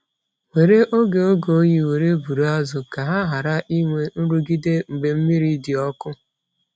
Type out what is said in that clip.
Were oge oge oyi were buru azụ ka ha ghara inwe nrụgide mgbe mmiri dị ọkụ.